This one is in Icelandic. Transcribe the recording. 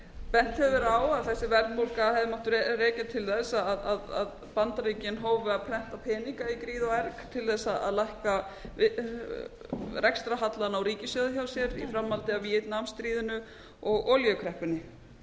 bent hefur verið á að þessi verðbólga hefði mátt rekja til þess að bandaríkin hófu að prenta peninga í gríð og erg til þess að lækka rekstrarhallann á ríkissjóði hjá sér í framhaldi af víetnam stríðinu og olíukreppunni